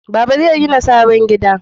Baba zai gina sabon gida